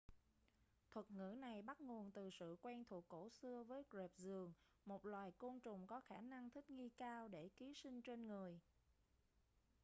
thuật ngữ này bắt nguồn từ sự quen thuộc cổ xưa với rệp giường một loài côn trùng có khả năng thích nghi cao để ký sinh trên người